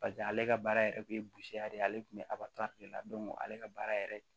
paseke ale ka baara yɛrɛ kun ye de ye ale kun be ato de la ale ka baara yɛrɛ